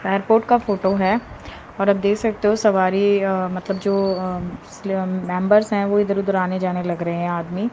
airport का photo है और अब देख सकते हो सवारी मतलब जो मेंबर्स है वह इधर उधर आने जाने लग रहे हैं आदमी--